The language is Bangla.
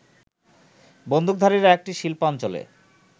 বন্দুকধারীরা একটি শিল্পাঞ্চলে